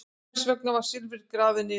Hvers vegna var silfrið grafið niður?